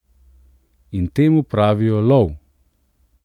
In temu pravijo lov!